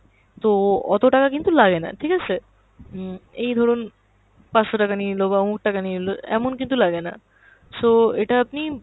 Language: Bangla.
তো অত টাকা কিন্তু লাগেনা ঠিক আছে, উম এই ধরুন পাঁচশো টাকা নিয়ে নিলো বা ওমুক টাকা নিয়ে নিলো, এমন কিন্তু লাগেনা। so এটা আপনি